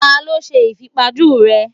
Ta ló ṣe ìfipajú rèé?